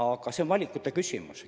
Aga see on valikute küsimus.